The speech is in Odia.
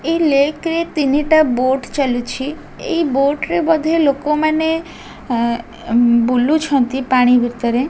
ଏଇ ଲେକ ରେ ତିନିଟା ବୋଟ ଚାଲୁଛି ଏଇ ବୋର୍ଟ ରେ ବୋଧେ ଲୋକମାନେ ବୁଲୁଛନ୍ତି ପାଣି ଭିତରରେ।